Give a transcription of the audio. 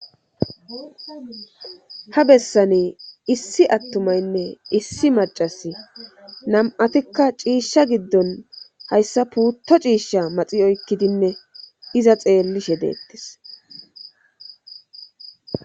Ha bessane issi attumaynne issi macasi nam7atikka ciishsha giddon hayssa puutto ciishsha maxi oykkidinne iza xeellishedeettis